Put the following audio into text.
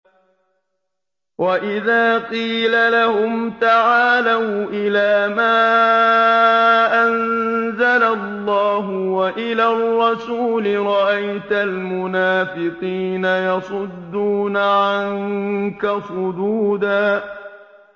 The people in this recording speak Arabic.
وَإِذَا قِيلَ لَهُمْ تَعَالَوْا إِلَىٰ مَا أَنزَلَ اللَّهُ وَإِلَى الرَّسُولِ رَأَيْتَ الْمُنَافِقِينَ يَصُدُّونَ عَنكَ صُدُودًا